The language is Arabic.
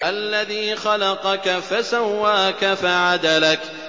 الَّذِي خَلَقَكَ فَسَوَّاكَ فَعَدَلَكَ